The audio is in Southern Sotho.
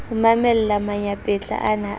ho mamella manyampetla ana a